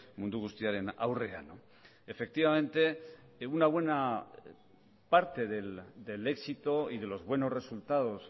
mundu guztiaren aurrean efectivamente una buena parte del éxito y de los buenos resultados